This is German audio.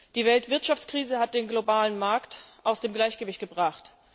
Die Weltwirtschaftskrise hat den globalen Markt aus dem Gleichgewicht gebracht.